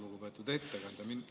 Lugupeetud ettekandja!